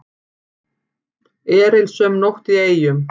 Erilsöm nótt í Eyjum